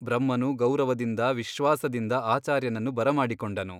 ಬ್ರಹ್ಮನು ಗೌರವದಿಂದ ವಿಶ್ವಾಸದಿಂದ ಆಚಾರ್ಯನನ್ನು ಬರಮಾಡಿಕೊಂಡನು.